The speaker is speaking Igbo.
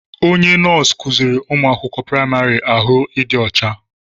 Onye nọọsụ kuziri ụmụ akwụkwọ praịmarị ahụ ịdị ọcha.